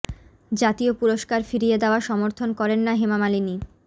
জাতীয় পুরস্কার ফিরিয়ে দেওয়া সমর্থন করেন না হেমা মালিনী